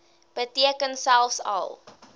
beteken selfs al